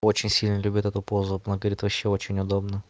очень сильно любит эту позу она говорит вообще очень удобно